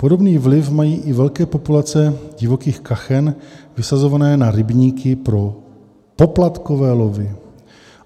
Podobný vliv mají i velké populace divokých kachen vysazované na rybníky pro poplatkové lovy.